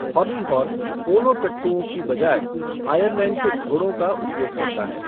Hobby horse polo टट्टूओं के बजाय आयरलैंड के घोड़ों का उपयोग करता है।